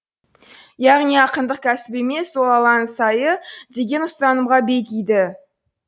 яғни ақындық кәсіп емес ол алланың сайы деген ұстанымға бегиді